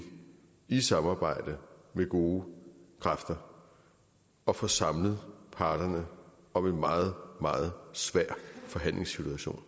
i samarbejde med gode kræfter at få samlet parterne om en meget meget svær forhandlingssituation